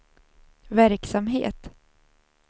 verksamhet